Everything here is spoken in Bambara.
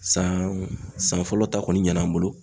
San ,san fɔlɔ ta kɔni ɲan' an bolo.